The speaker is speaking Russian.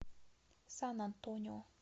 сан антонио